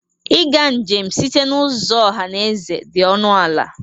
Ịga njem site n'ụzọ ọha na eze dị ọnụ ala.